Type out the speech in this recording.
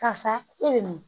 Karisa e bɛ min